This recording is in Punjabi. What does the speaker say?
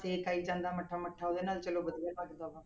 ਛੇਕ ਆਈ ਜਾਂਦਾ ਮੱਠਾ ਮੱਠਾ ਉਹਦੇ ਨਾਲ ਚਲੋ ਵਧੀਆ ਬਚਦਾ ਵਾ।